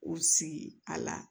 U sigi a la